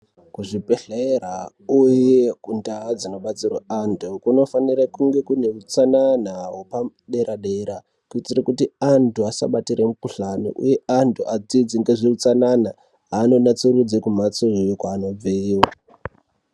Kuzvibhedhlera uye kundau dzinobetserwa antu kunofanire kune hutsanana hwepadera-dera. Kuitire kuti antu asabatire mukuhlani uye antu adzidze ngezveutsanana anonatsurudze kumhatsoyo kwaanobveyo.